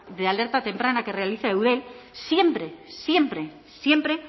de alerta temprana que realiza eudel siempre siempre siempre